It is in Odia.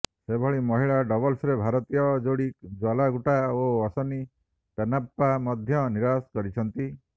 ସେହିଭଳି ମହିଳା ଡବଲ୍ସରେ ଭାରତୀୟ ଯୋଡ଼ି ଜ୍ୱାଲା ଗୁଟ୍ଟା ଓ ଅଶ୍ୱିନି ପୋନ୍ନାପ୍ପା ମଧ୍ୟ ନିରାଶ କରିଛନ୍ତି